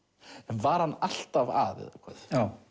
var hann alltaf að eða hvað